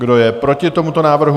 Kdo je proti tomuto návrhu?